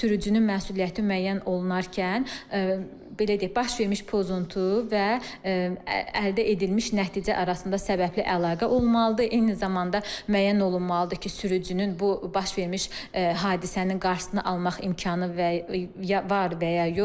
Sürücünün məsuliyyəti müəyyən olunarkən, belə deyək, baş vermiş pozuntu və əldə edilmiş nəticə arasında səbəbli əlaqə olmalıdır, eyni zamanda müəyyən olunmalıdır ki, sürücünün bu baş vermiş hadisənin qarşısını almaq imkanı var və ya yox.